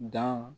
Dan